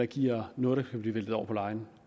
giver noget der kan blive væltet over på lejen